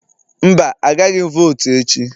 Mba, agaghị m votu echi